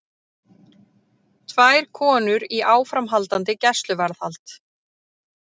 Tvær konur í áframhaldandi gæsluvarðhald